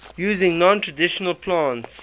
using non traditional plants